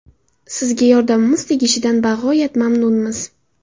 Sizga yordamimiz tegishidan bag‘oyat mamnunmiz.